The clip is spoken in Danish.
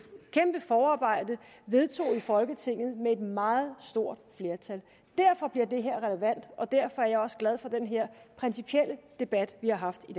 kæmpe forarbejde vedtog i folketinget med et meget stort flertal derfor bliver det her relevant og derfor er jeg også glad for den her principielle debat vi har haft i